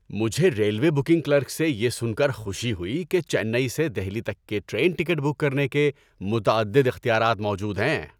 مجھے railway booking clerk سے یہ سن کر خوشی ہوئی کہ چنئی سے دہلی تک کے ٹرین ٹکٹ بک کرنے کے متعدد اختیارات موجود ہیں۔